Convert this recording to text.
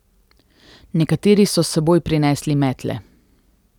Nekateri so s seboj prinesli metle.